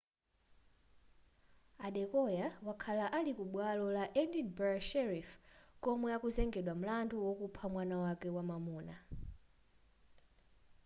adekoya wakhala ali ku bwalo la edinburgh sheriff komwe akuzengedwa mlandu wakupha mwana wake wamwamuna